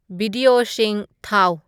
ꯕꯤꯗꯤꯌꯣꯁꯤꯡ ꯊꯥꯎ